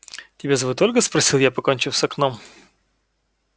тебя зовут ольга спросил я покончив с окном